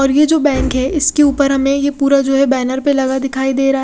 और ये जो बैंक है इसके उपर हमे ये पूरा जो है बैनर पे लगा दिखाई देरा--